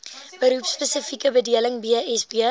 beroepspesifieke bedeling bsb